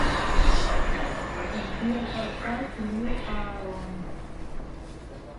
сбер поставь лил аарон